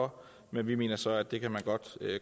for men vi mener så at det kan man godt